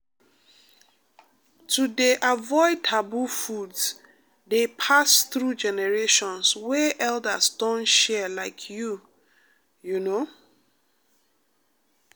to dey avoid taboo foods dey pass through generations wey elders don share like you you know.